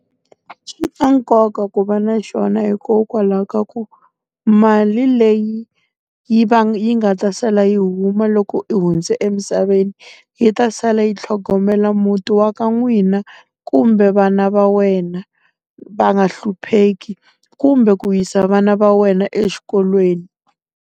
Swi na nkoka ku va na xona hikokwalaho ka ku, mali leyi yi va yi nga ta sala yi huma loko u hundze emisaveni, yi ta sala yi tlhogomela muti wa ka n'wina, kumbe vana va wena. Va nga hlupheki, kumbe ku yisa vana va wena exikolweni.